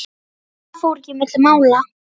Það fór ekki milli mála.